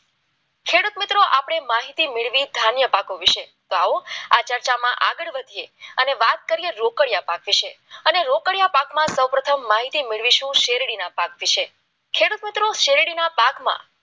આપણે માહિતી મેળવી ધાન્ય પાકો વિશે આવું આ ચર્ચામાં આગળ વધીએ અને વાત કરીએ રોકડિયા અને રોકડિયા પાકમાં સૌપ્રથમ માહિતી શેરડીના પાક વિશે ખેડૂત મિત્રો શેરડીના પાકમાં